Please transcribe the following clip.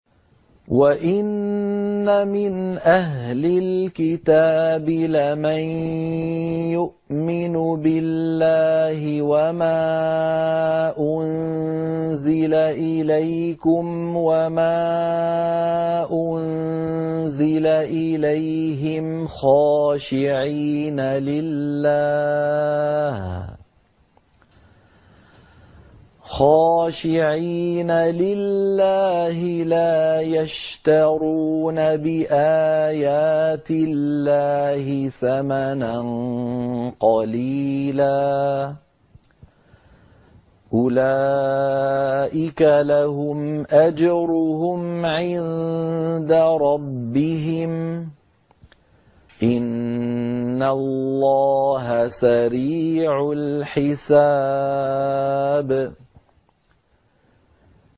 وَإِنَّ مِنْ أَهْلِ الْكِتَابِ لَمَن يُؤْمِنُ بِاللَّهِ وَمَا أُنزِلَ إِلَيْكُمْ وَمَا أُنزِلَ إِلَيْهِمْ خَاشِعِينَ لِلَّهِ لَا يَشْتَرُونَ بِآيَاتِ اللَّهِ ثَمَنًا قَلِيلًا ۗ أُولَٰئِكَ لَهُمْ أَجْرُهُمْ عِندَ رَبِّهِمْ ۗ إِنَّ اللَّهَ سَرِيعُ الْحِسَابِ